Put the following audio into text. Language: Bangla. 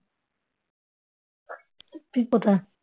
তুই কোথায়